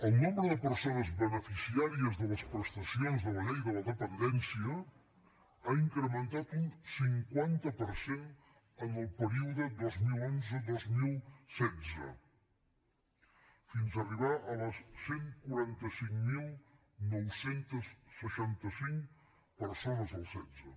el nombre de persones beneficiàries de les prestacions de la llei de la dependència ha incrementat un cinquanta per cent en el període dos mil onze dos mil setze fins a arribar a les cent i quaranta cinc mil nou cents i seixanta cinc persones el setze